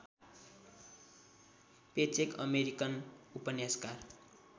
paycheque American उपन्यासकार